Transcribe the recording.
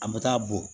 An bɛ taa bɔn